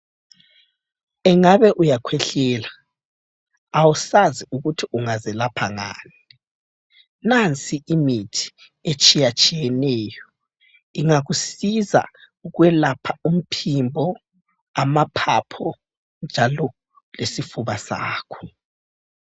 Ingabe uyakhwehlela, awusazi ukuthi ungazilapha ngani, nansi imithi etshiyatshiyeneyo ingakusiza ukwelapha umphimbo , amaphaphu njalo lesifuba sakho.